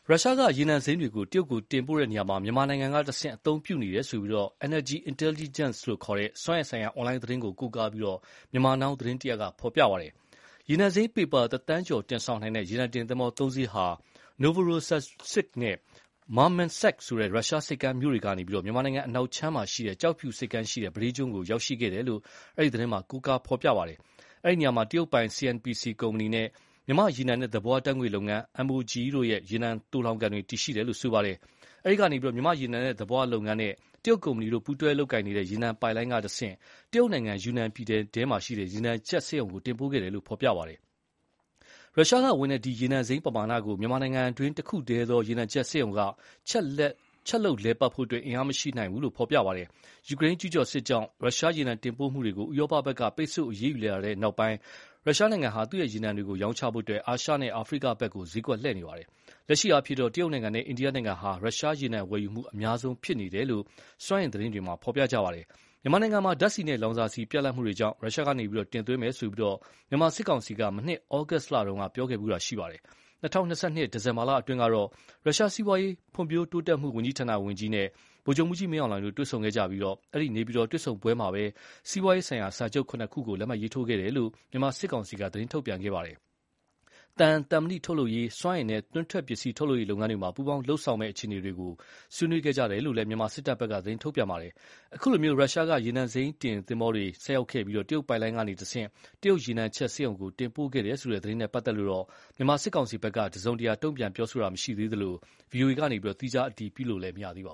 ရုရှားကရေနံစိမ်းတွေ တရုတ်ကိုတင်ပို့ရာမှာ မြန်မာနိုင်ငံတဆင့်အသုံးပြုနေတယ်လို့ Energy Intelligence ဆိုတဲ့ စွမ်းအင်ဆိုင်ရာအွန်လိုင်းသတင်းကို ကိုးကားပြီး Myanmar Now သတင်းက ဖော်ပြပါတယ်။ ရေနံစိမ်း ပေပါ တသန်းကျော်တင်ဆောင်နိုင်တဲ့ ရေနံတင်သင်္ဘောသုံးစင်းဟာ Novorossiysk နဲ့ Murmansk ရုရှားဆိပ်ကမ်းမြို့တွေကနေ မြန်မာနိုင်ငံအနောက်ခြမ်း ကျောက်ဖြူဆိပ်ကမ်းရှိတဲ့ ပဒေးကျွန်းကို ရောက်ရှိခဲ့တယ်လို့ အဲဒီ သတင်းမှာ ကိုးကားဖော်ပြပါတယ်။ အဲဒီနေရာမှာ တရုတ်ပိုင် CNPC ကုမ္ပဏီနဲ့ မြန်မာရေနံနဲ့သဘာဝဓါတ်ငွေ့လုပ်ငန်း MOGE တို့ရဲ့ ရေနံသိုလှောင်ကန်တွေ တည်ရှိတယ်လို့ ဆိုပါတယ်။ အဲဒီကနေ မြန်မာ့ရေနံနဲ့သဘာဝလုပ်ငန်းနဲ့ တရုတ်ကုမ္ပဏီတို့ ပူးတွဲလုပ်ကိုင်နေတဲ့ ရေနံပိုက်လိုင်းကတဆင့် တရုတ်နိုင်ငံယူနန်ပြည်နယ်ထဲက ရေနံချက်စက်ရုံကို တင်ပို့ခဲ့တယ်လို့ ဖော်ပြပါတယ်။ ရုရှားကဝင်တဲ့ ဒီရေနံစိမ်းပမာဏကို မြန်မာနိုင်ငံတွင်းတခုတည်းသောရေနံချက်စက်ရုံက ချက်လုပ်လည်ပတ်ဖို့ အင်အားမရှိဘူးလို့လည်း ဖော်ပြပါတယ်။ ယူကရိန်းကျူးကျော်စစ်ကြောင့် ရုရှားရေနံတင်ပို့မှုတွေကို ဥရောပဘက်က ပိတ်ဆို့အရေးယူလာတဲ့နောက် ရုရှားနိုင်ငံဟာ သူ့ ရေနံတွေရောင်းချဖို့ အာရှနဲ့ အာဖရိကဘက် စျေးကွက်လှည့်နေပါတယ်။ လက်ရှိအားဖြင့် တရုတ်နိုင်ငံနဲ့ အိန္ဒိယနိုင်ငံဟာ ရုရှားရေနံဝယ်ယူမှုအများဆုံးဖြစ်နေတယ်လို့ စွမ်းအင်သတင်းတွေမှာ ဖော်ပြပါတယ်။ မြန်မာနိုင်ငံမှာ ဓါတ်ဆီနဲ့လောင်စာဆီပြတ်လပ်မှုတွေကြောင့် ရုရှားကနေတင်သွင်းမယ်လို့ မြန်မာစစ်ကောင်စီက မနှစ်ဩဂုတ်လတုန်းက ပြောခဲ့ဖူးပါတယ်။ ၂၀၂၂ ဒီဇင်လာအတွင်းကတော့ ရုရှားစီးပွားရေး ဖွံ့ဖြိုးတိုးတက်မှု ဝန်ကြီးဌာနဝန်ကြီး Maxim Reshetnikov နဲ့ ဗိုလ်ချုပ်မှူးကြီး မင်းအောင်လှိုင်တို့ တွေ့ဆုံခဲ့ကြပြီး အဲဒီ နေပြည်တော်တွေ့ဆုံပွဲမှာ စီးပွားရေးဆိုင်ရာ စာချုပ် (၇) ခုကို လက်မှတ်ရေးထိုးခဲ့တယ်လို့ မြန်မာစစ်ကောင်စီက သတင်းထုတ်ပြန်ခဲ့ပါတယ်။ သံ၊ သံမဏိထုတ်လုပ်ရေး၊ စွမ်းအင်နဲ့ တွင်းထွက်ပစ္စည်း ထုတ်လုပ်ရေးလုပ်ငန်းတွေမှာ ပူးပေါင်းလုပ်ဆောင်မယ့် အခြေအနေတွေကို ဆွေးနွေးခဲ့ကြတယ်လို့လည်း မြန်မာစစ်တပ်ဘက်က သတင်းထုတ်ပြန်ခဲ့ပါတယ်။ အခုလို ရုရှားက ရေနံစိမ်းတင်သင်္ဘောတွေဆိုက်ရောက်ခဲ့ပြီး တရုတ်ပိုက်လိုင်းကတဆင့် တရုတ်ရေနံချက်စက်ရုံကို တင်ပို့ခဲ့တယ်ဆိုတဲ့ သတင်းနဲ့ပတ်သက်လို့ မြန်မာစစ်ကောင်စီဖက်က တစုံတရာတုံ့ပြန်တာမျိုးမရှိသေးသလို ဗွီအိုအေက သီးခြားအတည်ပြုလို့တော့ မရသေးပါ